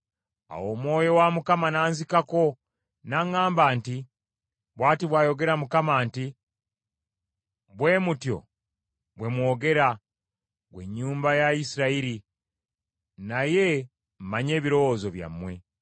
Awo Omwoyo wa Mukama n’anzikako, n’aŋŋamba nti, “Bw’ati bw’ayogera Mukama nti, Bwe mutyo bwe mwogera, ggwe ennyumba ya Isirayiri, naye mmanyi ebirowoozo byammwe.